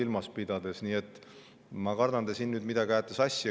Ma kardan, et te siin nüüd midagi ajate sassi.